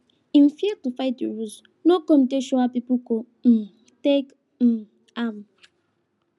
him fear to fight the rules no come dey sure how people go um take um am